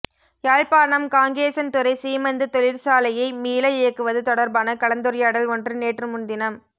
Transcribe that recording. யாழ்ப்பாணம் காங்கேசன்துறை சீமெந்து தொழிற்சாலையை மீள இயக்குவது தொடர்பான கலந்துரையாடல் ஒன்று நேற்று முன்தினம்